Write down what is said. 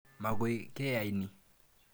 Makoi keyanie nin.